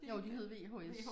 Jo de hed VHS